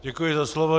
Děkuji za slovo.